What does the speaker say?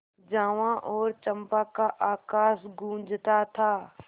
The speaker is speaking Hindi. जावा और चंपा का आकाश गँूजता था